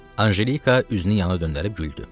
Anjelika üzünü yana döndərib güldü.